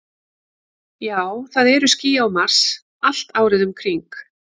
Já, það eru ský á Mars, allt árið um kring.